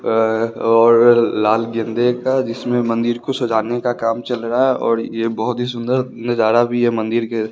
अ और लाल गेंदे का जिसमें मंदिर को सजाने का काम चल रहा है और यह बहुत ही सुंदर नजारा भी है मंदिर के--